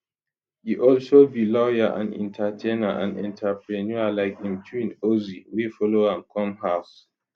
e also be lawyer and entertainer and entrepreneur like im twin ozee wey follow am come house